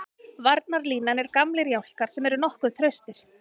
Varnarlínan er gamlir jálkar sem eru nokkuð traustir.